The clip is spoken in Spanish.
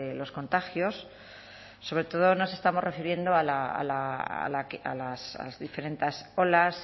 los contagios sobre todo nos estamos refiriendo a las diferentes olas